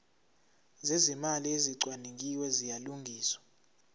zezimali ezicwaningiwe ziyalungiswa